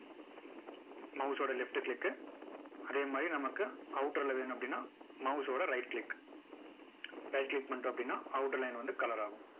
mouse ஓட left click அதே மாதிரி நமக்கு outer ல வேணும் அப்படின்னா mouse ஓட right click right click பண்ணிட்டோம் அப்படின்னா outer line வந்து colour ஆகும்